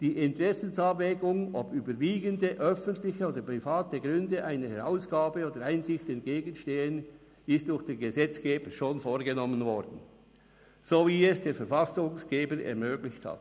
Die Interessensabwägung, ob überwiegende öffentliche oder private Gründe einer Herausgabe oder Einsicht entgegenstehen, ist durch den Gesetzgeber schon vorgenommen worden, so wie es der Verfassungsgeber ermöglicht hat.